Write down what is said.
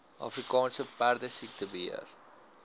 afrika perdesiekte beheer